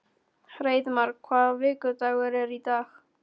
Hreiðmar, hvaða vikudagur er í dag?